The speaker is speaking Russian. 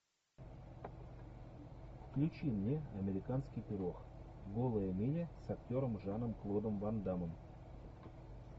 включи мне американский пирог голая миля с актером жаном клодом ван дамом